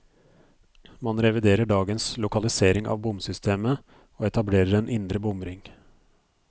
Man reviderer dagens lokalisering av bomsystemet, og etablerer en indre bomring.